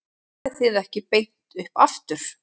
En farið þið ekki beint upp aftur?